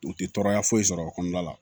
U tɛ tɔɔrɔya foyi sɔrɔ o kɔnɔna la